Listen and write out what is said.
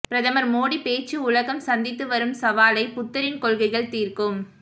பிரதமர் மோடி பேச்சு உலகம் சந்தித்து வரும் சவாலை புத்தரின் கொள்கைகள் தீர்க்கும்